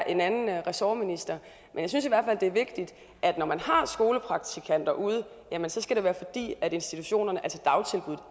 en anden ressortminister men jeg synes i hvert fald det er vigtigt at når man har skolepraktikanter ude skal det være fordi institutionerne altså